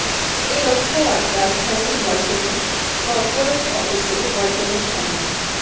এ লক্ষ্যে আজ রাজধানীর ওয়ালটনের করপোরেট অফিসে ওয়ালটনের সঙ্গে